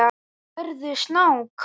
Sérðu snák?